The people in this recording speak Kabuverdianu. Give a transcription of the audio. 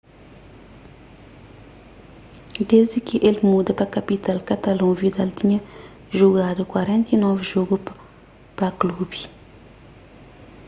desdi ki el muda pa kapital katalon vidal tinha jugadu 49 jogu pa klubi